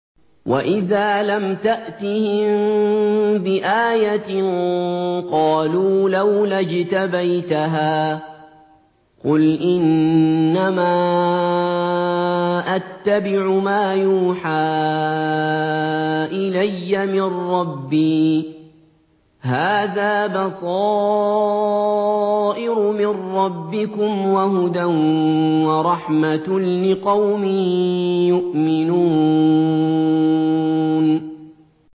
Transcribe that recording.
وَإِذَا لَمْ تَأْتِهِم بِآيَةٍ قَالُوا لَوْلَا اجْتَبَيْتَهَا ۚ قُلْ إِنَّمَا أَتَّبِعُ مَا يُوحَىٰ إِلَيَّ مِن رَّبِّي ۚ هَٰذَا بَصَائِرُ مِن رَّبِّكُمْ وَهُدًى وَرَحْمَةٌ لِّقَوْمٍ يُؤْمِنُونَ